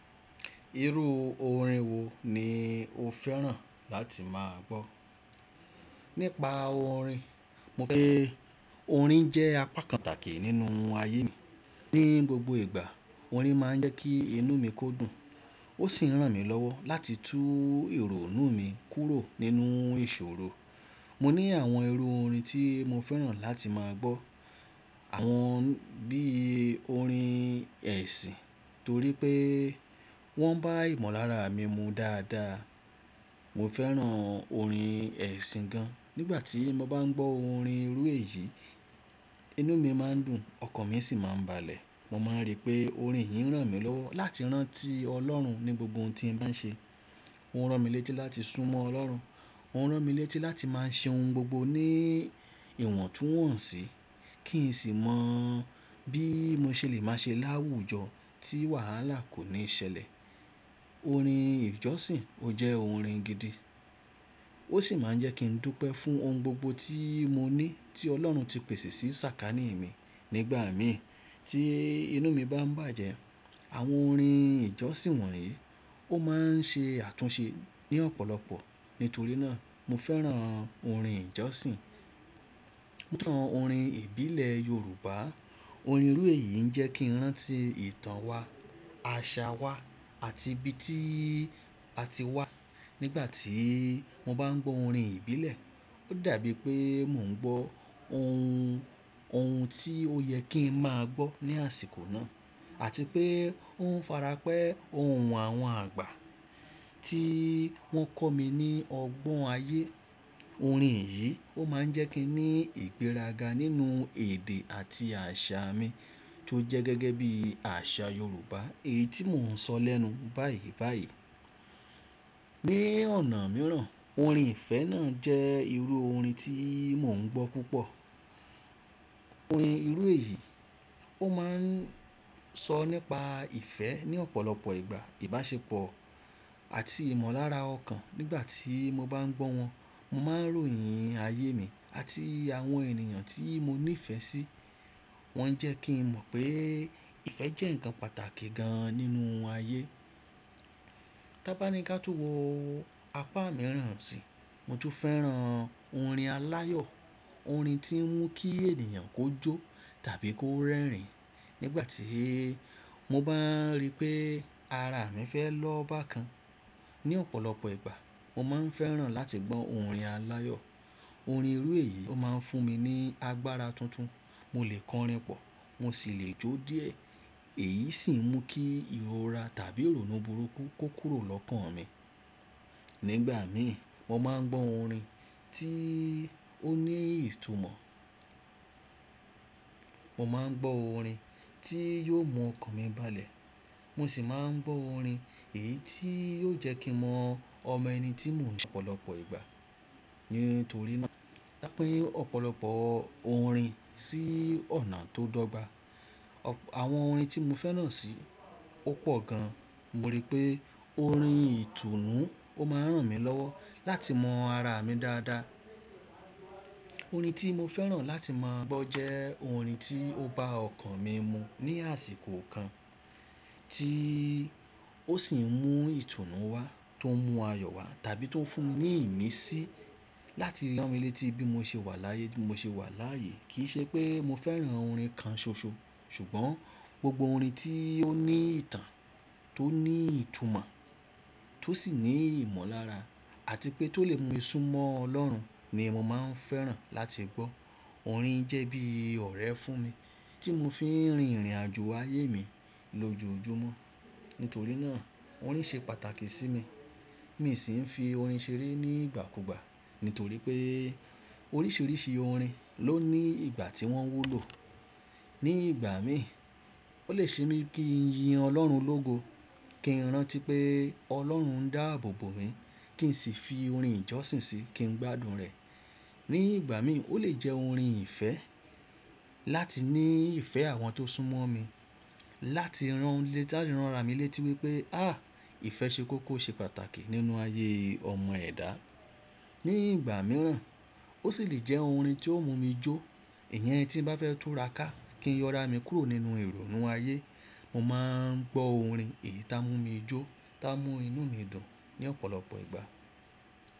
Irú orin wo ni o fẹ́ràn láti máa gbọ́? Nípa orin, mo fẹ́ pé orin jẹ́ apá pataki nínú ayé mi. Ni gbogbo ìgbà orin máa ń jẹ́ kí inú mi kó dùn. Ó sì ń ràn mí lọ́wọ́ láti tú ìrònú mi kúrò nínú ìṣòro. Mo ní àwọn irú orin tí mo fẹ́ràn láti máa gbọ́. Àwọn bí orin ẹ̀sìn torí pé wọ́n bá ìmọ̀lára mi mu dáadáa. Mo fẹ́ràn orin ẹ̀sìn gan. Nígbà tí mo bá ń gbọ́ orin irú èyí, inú mi máa ń dùn, ọkàn mi sì máa ń balẹ̀. Mo máa ń rí pé orin yìí ń ràn mí lọ́wọ́ láti rántí Ọlọ́run ní gbogbo ohun tí mo bá ń ṣe. Ó ń ràn mí létí láti súnmọ́ Ọlọ́run. Ó ń ràn mí létí láti máa ṣe ohun gbogbo ní ìwọ̀ntúnwọ̀nsì kí n sì mọ bí mo ṣe le máa ṣe láwùjọ tí wàhálà kò ní ṣẹlẹ̀. Orin ìjọsìn ó jẹ́ orin gidi. Ó sì máa ń jẹ́ kí n dúpẹ́ fún ohun gbogbo tí mo ní tí Ọlọ́run ti pèsè sí sàkání mi. Nígbà mìí tí inú mi bá ń bàjẹ́, àwọn orin ìjọsìn wọ̀nyí ó máa ń ṣe àtúnṣe ní ọ̀pọ̀lọpọ̀. Nítorí náà, mo fẹ́ràn orin ìjọsìn. Púpọ̀ orin ìbílẹ̀ Yorùbá, orin irú èyí ń jẹ́ kí n rántí ìtàn wa, àṣà wa àti ibi tí a ti wá. Nígbà tí mo bá ń gbọ́ orin ìbílẹ̀, ó dàbí pé mò ń gbọ́ ohun, ohun tí ó yẹ kí n máa gbọ́ ní àsìkò náà àti pé ó ń farapẹ́ ohun àwọn àgbà tí wọ́n kọ́ mi ní ọgbọ́n ayé. Orin yìí ó máa ń jẹ́ kí n ní ìgbéraga nínú èdè àti àṣà mi tó jẹ́ gẹ́gẹ́ bí àṣà Yorùbá èyí tí mò ń sọ lẹ́nu báyìí báyìí. Ni ọ̀nà mìíràn, orin ìfẹ́ náà jẹ́ irú orin tí mò ń gbọ́ púpọ̀. Orin irú èyí ó máa ń sọ nípa ìfẹ́ ní ọ̀pọ̀lọpọ̀ ìgbà, ìbáṣepọ̀ àti ìmọ̀lára ọkàn. Nígbà tí mo bá ń gbọ́ wọn, mo máa ń ròyìn ayé mi àti àwọn ènìyàn tí mo ní ìfẹ́ sí. Wọ́n ń jẹ́ kí n mọ̀ pé ìfẹ́ jẹ́ ǹkan pàtàkì gan nínú ayé. Tábáníká tún wọ apá mìíràn ti mo tún fẹ́ràn orin aláyọ̀. Orin tí ń mú kí ènìyàn kó jó tàbí kó rẹ́rìn-ín. Nígbà tí mo bá ń rí pé ara mi fẹ́ lọ́ba kan, ní ọ̀pọ̀lọpọ̀ ìgbà, mo máa ń fẹ́ràn láti gbọ́ orin aláyọ̀. Orin irú èyí ó máa ń fún mi ní agbára tuntun. Mo lè kọrin pọ̀, mo sì lè jó díẹ̀. Èyí sì ń mú kí ìrora tàbí ìrònú burúkú kó kúrò lọ́kàn mi. Nígbà mìí mo máa ń gbọ́ orin tí ó ní ìtumọ̀. Mo máa ń gbọ́ orin tí yóò mú ọkàn mi balẹ̀. Mo sì máa ń gbọ́ orin èyí tí yóò jẹ́ kí n mọ ọmọ ẹni tí mò ń ṣe ní ọ̀pọ̀lọpọ̀ ìgbà. Nítorí náà, dá pé ọ̀pọ̀lọpọ̀ orin sí ọ̀nà tó dogba Àwọn orin tí mo fẹ́ràn sì ó pọ̀ gan. Mo rí pé orin ìtùnú ó máa ń ràn mí lọ́wọ́ láti mọ ara mi dáadáa. Orin tí mo fẹ́ràn láti máa gbọ́ jẹ́ orin tí ó bá ọkàn mi mu ní àsìkò kan tí ó sì ń mú ìtùnú wá tó ń mú ayọ̀ wá tàbí tó ń fún mi ní ìmísí láti rántí létí bí mo ṣe wà láyé, bí mo ṣe wà láyé. Kì í ṣe pé mo fẹ́ràn orin kan ṣoṣo. Ṣùgbọ́n gbogbo orin tí ó ní ìtàn, tó ní ìtumọ̀ tó sì ní ìmọ̀lára àti pé tó lè mú mi súnmọ́ Ọlọ́run ni mo máa ń fẹ́ràn láti gbọ́. Orin jẹ́ bí ọ̀rẹ́ fún mi tí mo fi ń rin ìrìnàjò ayé mi lójoojúmọ́. Nítorí náà orin ṣe pàtàkì sí mi. Mì sì ń fi orin ṣeré nígbà kúgbà. Nítorí pé oríṣiríṣi orin ló ní ìgbà tí wọ́n wúlò. Ní ìgbà mìí ó lè ṣe mí kí n yin Ọlọ́run lógo, kí n rántí pé Ọlọ́run ń dá àbọ̀ bọ̀ mí, kí n sì fi orin ìjọsìn sí i kí n gbádùn rẹ̀. Ní ìgbà mìí ó lè jẹ́ orin ìfẹ́ láti ní ìfẹ́ àwọn tó súnmọ́ mi, láti rán létí, láti ránra mi létí wípé, àh! Ìfẹ́ ṣe kó kó ṣe pàtàkì nínú ayé ọmọ ẹ̀dá. Ní ìgbà mìíràn ó sì lè jẹ́ orin tí ó mú mi jó. Ìyẹn tí bá fẹ́ túra ká kí n yọ ara mi kúrò nínú ìrònú ayé, mo máa ń gbọ́ orin èyí tá mú mi jó tá mú inú mi dùn ní ọ̀pọ̀lọpọ̀ ìgbà.